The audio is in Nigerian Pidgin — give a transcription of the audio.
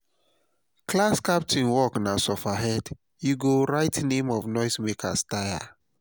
class captain work na suffer head; you go write noise makers tire.